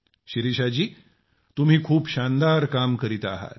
शिरीषा जी तुम्ही खूप शानदार काम करीत आहात